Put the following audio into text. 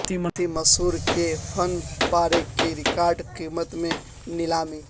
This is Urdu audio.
بھارتی مصور کے فن پارے کی ریکارڈ قیمت میں نیلامی